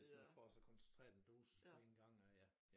Hvis man får så koncentreret en dosis på en gang at ja ja